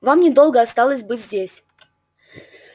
вам недолго осталось быть здесь